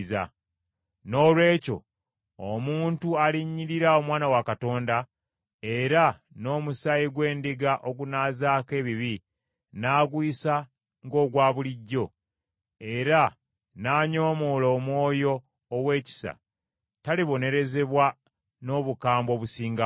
Noolwekyo omuntu alinnyirira Omwana wa Katonda, era n’omusaayi gw’endagaano ogunaazaako ebibi n’aguyisa ng’ogwa bulijjo, era n’anyoomoola Omwoyo ow’ekisa, talibonerezebwa n’obukambwe obusingawo?